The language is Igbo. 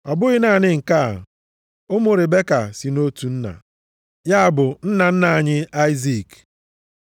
Ọ bụghị naanị nke a. Ụmụ Ribeka si nʼotu nna, ya bụ nna nna anyị Aịzik.